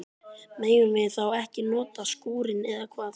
Megum við þá ekki nota skúrinn, eða hvað?